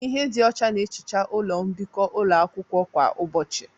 Ihe dị ọcha na-ehicha ụlọ mbikọ ụlọ akwụkwọ kwa ụbọchị